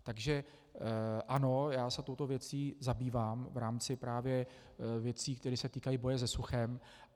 Takže ano, já se touto věcí zabývám v rámci právě věcí, které se týkají boje se suchem.